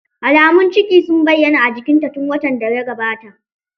Alamu ciki sun bayyana a jikinta tun watan da ya gabata.